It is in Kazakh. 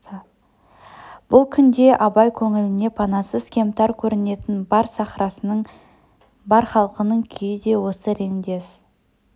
бұл күнде абай көңіліне панасыз кемтар көрінетін бар сахрасының бар халқының күйі де осы реңдес